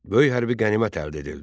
Böyük hərbi qənimət əldə edildi.